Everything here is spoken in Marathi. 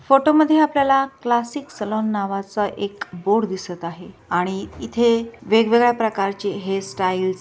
फोटो मध्ये आपल्याला क्लासिक सलून नावच एक बोर्ड दिसत आहे आणि इथे वेगवेगळ्या प्रकार चे हेयर स्टाइल्स --